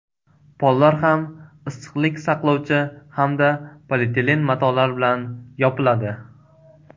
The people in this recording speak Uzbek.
Pollar ham issiqlik saqlovchi hamda polietilen matolar bilan yopiladi.